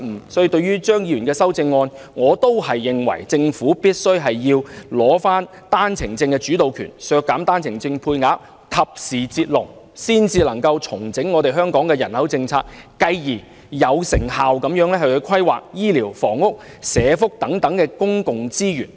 因此，對於張議員的修正案，我仍然認為政府必須取回單程證的主導權，削減單程證配額，及時"截龍"，才能重整香港的人口政策，繼而有成效地規劃醫療、房屋和社福等公共資源。